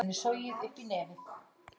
Það sagði bæjarslúðrið.